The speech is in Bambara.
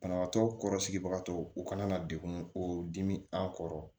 Banabagatɔ kɔrɔ sigibagatɔ u kana na degun o dimi an kɔrɔ